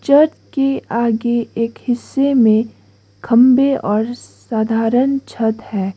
Church के आगे एक हिस्से में खंभे और साधारण छत हैं।